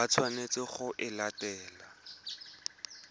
ba tshwanetseng go e latela